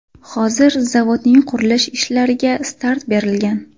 Hozir zavodning qurilish ishlariga start berilgan.